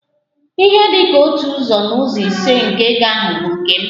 Ihe dị ka otu ụzọ n'ụzọ ise nke ego ahụ bụ nke m.